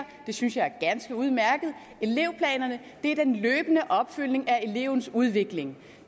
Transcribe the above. det synes jeg er ganske udmærket elevplanerne er den løbende opfølgning af elevens udvikling